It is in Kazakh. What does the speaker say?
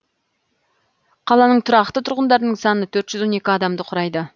қаланың тұрақты тұрғындарының саны төрт жүз он екі адамды құрайды